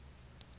toka